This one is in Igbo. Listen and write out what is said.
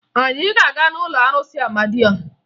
Anyị ga-aga n'ụlọ arụsị Amadịọha